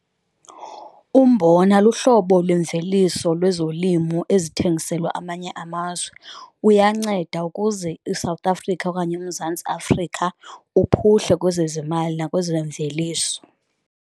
Umbona luhlobo lemveliso lwezolimo ezithengiselwa amanye amazwe, uyacenda ukuze iSouth Africa okanye uMzantsi Afrika uphuhle kwezezimali nakwezemveliso.